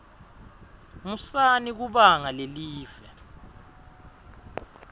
musani kubanga lelive